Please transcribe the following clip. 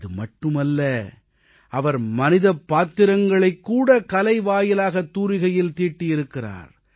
இதுமட்டுமல்ல அவர் மனிதப் பாத்திரங்களைக்கூட கலை வாயிலாகத் தூரிகையில் தீட்டியிருக்கிறார்